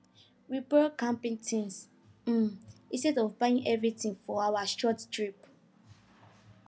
we borrow camping things um instead of buying everything for our short trip